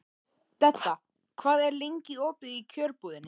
Dedda, hvað er lengi opið í Kjörbúðinni?